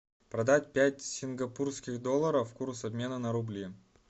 продать пять сингапурских долларов курс обмена на рубли